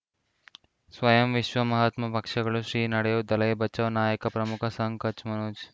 ಸ್ವಯಂ ವಿಶ್ವ ಮಹಾತ್ಮ ಪಕ್ಷಗಳು ಶ್ರೀ ನಡೆಯೂ ದಲೈ ಬಚೌ ನಾಯಕ ಪ್ರಮುಖ ಸಂಘ ಕಚ್ ಮನೋಜ್